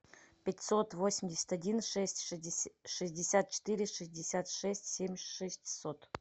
пятьсот восемьдесят один шесть шестьдесят четыре шестьдесят шесть семь шестьсот